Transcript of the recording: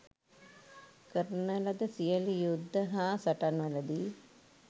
කරන ලද සියලු යුද්ධ හා සටන්වලදී